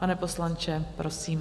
Pane poslanče, prosím.